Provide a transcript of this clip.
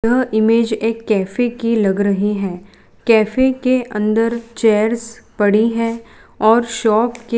यह इमेज एक कैफे की लग रही हैं कैफे के अंदर चेयर्स पड़ी हैं और शॉप के--